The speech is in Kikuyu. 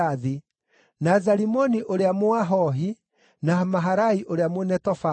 na Zalimoni ũrĩa Mũahohi, na Maharai ũrĩa Mũnetofathi,